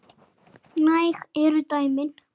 Næg eru dæmin.